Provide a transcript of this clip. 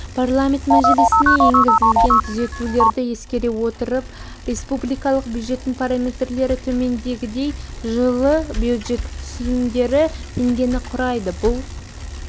парламент мәжілісіне енгізілген түзетулерді ескере отырып республикалық бюджеттің параметрлері төмендегідей жылы бюджет түсімдері теңгені құрайды бұл